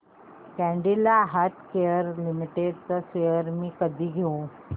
Cadila healthcare limited shares मी कधी घेऊ